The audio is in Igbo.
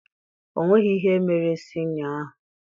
O nweghị ihe mere sinịọ ahụ